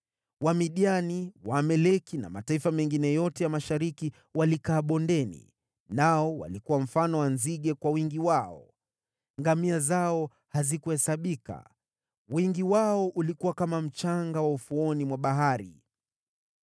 Wamidiani, Waamaleki na mataifa mengine yote ya mashariki walikaa bondeni, nao walikuwa mfano wa nzige kwa wingi wao. Ngamia zao hazikuhesabika, wingi wao ulikuwa kama mchanga wa ufuoni mwa bahari.